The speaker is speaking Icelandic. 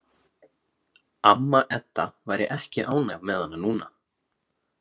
Amma Edda væri ekki ánægð með hana núna.